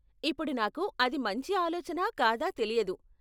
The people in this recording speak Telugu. ఇప్పుడు, నాకు అది మంచి ఆలోచనా కాదా తెలియదు.